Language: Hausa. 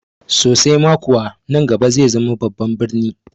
Sosai ma kuwa, nan gaba zai zama babban birni